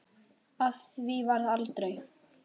Af því varð aldrei.